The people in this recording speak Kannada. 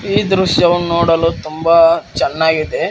ಈ ದೃಶ್ಯವು ನೋಡಲು ತುಂಬಾ ಚೆನ್ನಾಗಿದೆ.